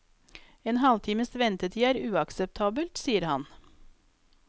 En halvtimes ventetid er uakseptabelt, sier han.